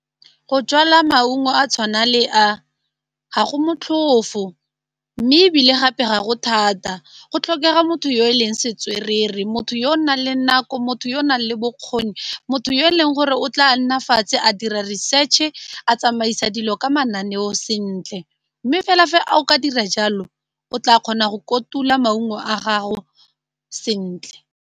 Go jala maungo a tshwana le a, ga go motlhofo mme ebile gape ga go thata, go tlhokega motho yo e leng setswerere, motho yo o nang le nako, motho yo o nang le bokgoni motho yo e leng gore o tla nna fatshe a dira research-e a tsamaisa dilo ka mananeo sentle, mme fela fa a o ka dira jalo o tla kgona go kotula maungo a gago sentle.